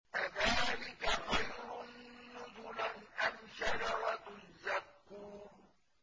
أَذَٰلِكَ خَيْرٌ نُّزُلًا أَمْ شَجَرَةُ الزَّقُّومِ